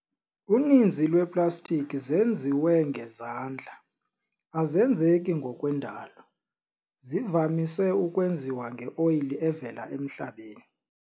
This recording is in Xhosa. Uninzi lweplastiki zenziwe ngezandla, azenzeki ngokwendalo. zivamise ukwenziwa nge-oyile evela emhlabeni.